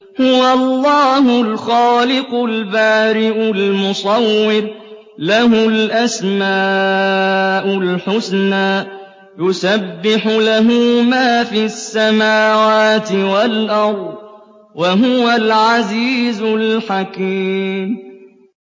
هُوَ اللَّهُ الْخَالِقُ الْبَارِئُ الْمُصَوِّرُ ۖ لَهُ الْأَسْمَاءُ الْحُسْنَىٰ ۚ يُسَبِّحُ لَهُ مَا فِي السَّمَاوَاتِ وَالْأَرْضِ ۖ وَهُوَ الْعَزِيزُ الْحَكِيمُ